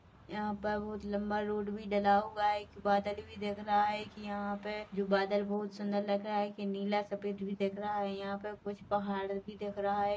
यहाँ पे बहुत लम्बा रोड भी डला हुआ है एक बादल भी दिख रहा है कि यहाँ पे जो बादल बहुत सुंदर लग रहा है कि नीला सफ़ेद भी दिख रहा है यहाँ पे कुछ पहाड़ भी दिख रहा है।